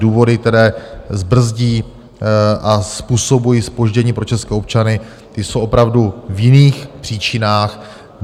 Důvody, které brzdí a způsobují zpoždění pro české občany, ty jsou opravdu v jiných příčinách.